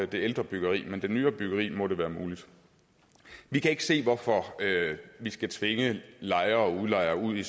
det ældre byggeri men med det nyere byggeri må det være muligt vi kan ikke se hvorfor vi skal tvinge lejere og udlejere ud i